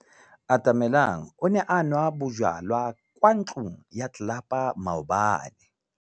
Atamelang o ne a nwa bojwala kwa ntlong ya tlelapa maobane.